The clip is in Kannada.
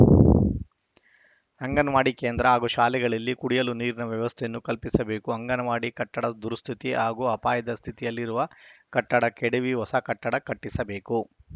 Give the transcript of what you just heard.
ಅಂಗನವಾಡಿ ಕೇಂದ್ರ ಹಾಗೂ ಶಾಲೆಗಳಲ್ಲಿ ಕುಡಿಯಲು ನೀರಿನ ವ್ಯವಸ್ಥೆಯನ್ನು ಕಲ್ಪಿಸಬೇಕು ಅಂಗನವಾಡಿ ಕಟ್ಟಡ ದುರಸ್ಥಿತಿ ಹಾಗೂ ಅಪಾಯದ ಸ್ಥಿತಿಯಲ್ಲಿರುವ ಕಟ್ಟಡ ಕೆಡವಿ ಹೊಸ ಕಟ್ಟಡ ಕಟ್ಟಿಸಬೇಕು